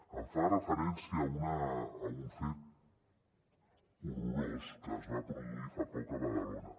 em fa referència a un fet horrorós que es va produir fa poc a badalona